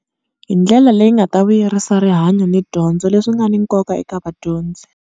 Hi ndlela leyi nga ta vuyerisa rihanyo ni dyondzo leswi nga ni nkoka eka vadyondzi.